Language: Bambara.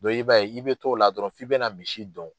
Don i b'a ye i bɛ t'o la dɔrɔn f'i bɛna misi dɔn.